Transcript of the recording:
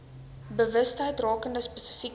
bewustheid rakende spesifieke